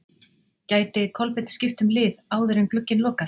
Gæti Kolbeinn skipt um lið áður en glugginn lokar?